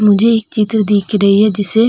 मुझे एक चित्र दिख रही है जिसे --